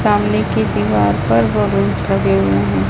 सामने की दीवार पर बलूंस लगे हुए हैं।